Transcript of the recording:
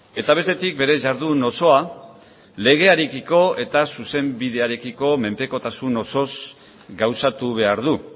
eta bestetik bere jardun osoa legearekiko eta zuzenbidearekiko menpekotasun osoz gauzatu behar du